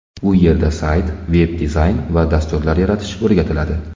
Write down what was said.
U yerda sayt, veb-dizayn va dasturlar yaratish o‘rgatiladi.